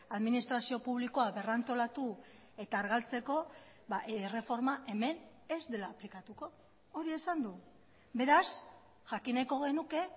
administrazio publikoa berrantolatu eta argaltzeko erreforma hemen ez dela aplikatuko hori esan du beraz jakin nahiko genuke